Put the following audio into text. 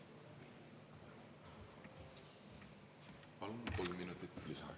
Palun kolm minutit lisaaega.